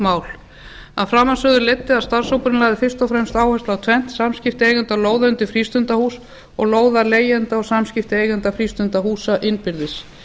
hagsmunamál af framansögðu leiddi að starfshópurinn lagði fyrst og fremst áherslu á tvennt samskipti eigenda á lóð undir frístundahús og lóðarleigjenda og samskipti eigenda frístundahúsa innbyrðis